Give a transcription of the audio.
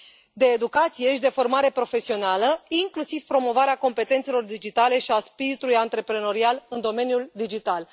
de educație și de formare profesională, inclusiv promovarea competențelor digitale și a spiritului antreprenorial în domeniul digital.